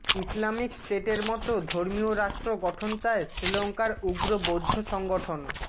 Islamic স্টেটের মতো ধর্মীয় রাষ্ট্র গঠন চায় শ্রীলংকার উগ্র বৌদ্ধ সংগঠন